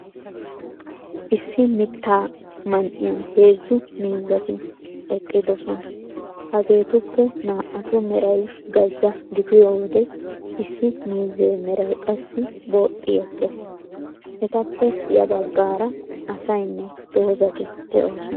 Issi mittaa man"iyan heezzu miizzati eqqidoosna. Hageetuppe naa"atu meray gazza gidiyo wode issi miizzee meray qassi booxxi ekkees. Etappe ya baggaara asaynne dozati de'oosona.